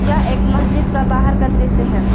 यह एक मस्जिद का बाहर का दृश्य है।